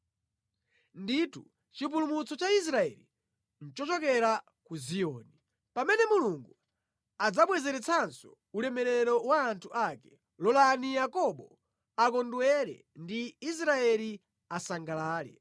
Ndithu, chipulumutso cha Israeli nʼchochokera ku Ziyoni! Pamene Mulungu adzabwezeretsanso ulemerero wa anthu ake, lolani Yakobo akondwere ndi Israeli asangalale!